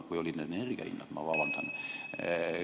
Või olid need energiahinnad?